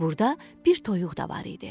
Burada bir toyuq da var idi.